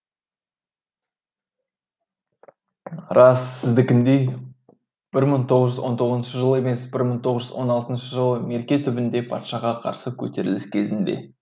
рас сіздікіндей бір мың тоғыз жүз он тоғызыншы жылы емес бір мың тоғыз жүз он алтыншы жылы мерке түбінде патшаға қарсы көтеріліс кезінде